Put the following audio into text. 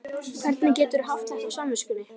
Hvernig geturðu haft þetta á samviskunni?